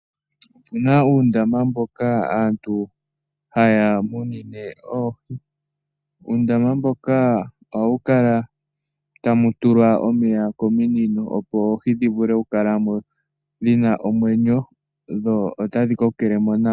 Opu na uundama mboka aantu haya munine oohi. Muundama mboka ohamu kala tamu tulwa omeya kominino, opo oohi dhi vule okukala mo dhi na omwenyo dho otadhi kokele mo nawa.